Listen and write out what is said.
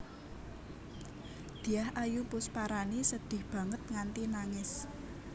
Dyah Ayu Pusparani sedih banget nganti nangis